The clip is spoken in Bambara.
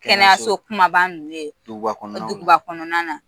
Kɛnɛyaso kunbaaba ninnu ye duguba kɔnɔna na